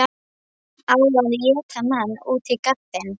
Á að éta mann út á gaddinn?